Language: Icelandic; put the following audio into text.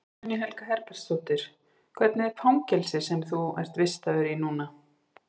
Guðný Helga Herbertsdóttir: Hvernig er fangelsið sem þú ert vistaður í núna?